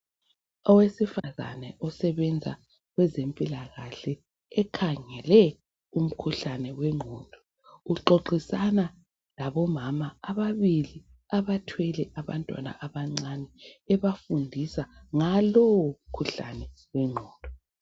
Owesifazana osebenza kwezempilakahle ekhangele umkhuhlane wengqondo exoxisana labomama ababili abathwele abantwana abancane ebafundisa ngalowo mkhuhlane wengqondo.